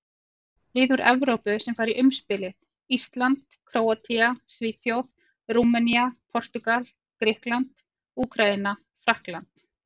Lið úr Evrópu sem fara í umspilið: Ísland, Króatía, Svíþjóð, Rúmenía, Portúgal, Grikkland, Úkraína, Frakkland.